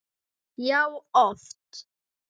Já, oft.